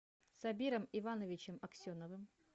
сабиром ивановичем аксеновым